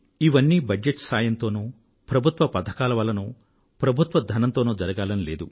ఇవన్నీ బడ్జెట్ సాయంతోనో ప్రభుత్వ ప్రథకాల వల్లనో ప్రభుత్వ ధనంతోనో జరగాలని లేదు